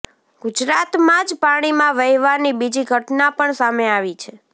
ગુજરાતમાં જ પાણીમાં વહેવાની બીજી ઘટના પણ સામે આવી છે